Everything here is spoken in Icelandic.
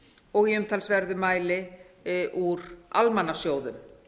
og í umtalsverðum mæli úr almannasjóðum